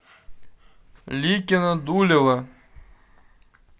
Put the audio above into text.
ликино дулево